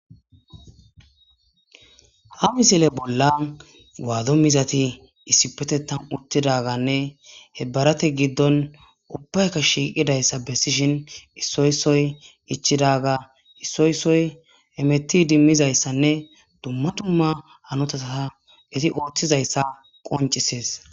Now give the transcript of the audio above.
ha misile bolla waado mizati issipetethan uttidaganne he barate giddon ubbayka shiiqidayssa bessishin issoy issoy ichidaga issoy issoy hemettidi mizayssanne dumma tumma hanota eti ooththizayssa qoncisees